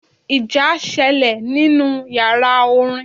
Ìjà sẹlẹ̀ nínú yàrá orin.